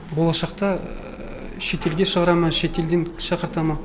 болашақта шетелге шығара ма шетелден шақырта ма